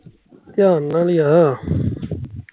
ਧਿਆਨ ਨਾਲ ਹੀ ਆ